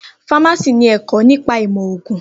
Fámásì ni ẹ̀kọ́ nípa ìmọ̀ ògùn